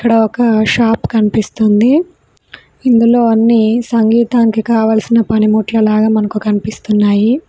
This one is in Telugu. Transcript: ఒక షాప్ కనిపిస్తుంది ఇందులో అన్ని సంగీతానికి కావలసిన పనిముట్ల లాగా మనకు కనిపిస్తున్నాయి.